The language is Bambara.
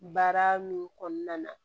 Baara min kɔnɔna na